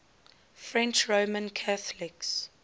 french roman catholics